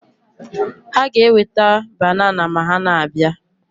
Ha ga-eweta banana ma ha na-abịa